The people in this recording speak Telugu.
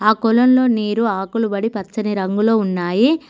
ఆ కొలన్లో నీరు ఆకులు బడి పచ్చని రంగులో ఉన్నాయి.